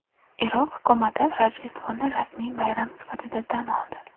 Iroq hukumati Rojdestvoni rasmiy bayram sifatida tan oldi.